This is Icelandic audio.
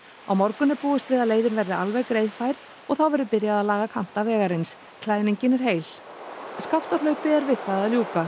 á morgun er búist við að leiðin verði alveg greiðfær og þá verður byrjað að laga kanta vegarins klæðningin er heil skaftárhlaupi er við það að ljúka